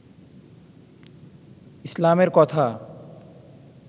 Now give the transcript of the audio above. ইসলামের কথা